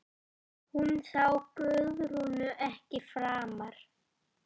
Hún sá Guðrúnu ekki framar.